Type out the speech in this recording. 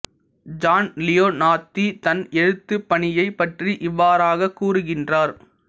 John Leonardi தன் எழுத்துப் பணியைப் பற்றி இவ்வாறாகக் கூறுகின்றார்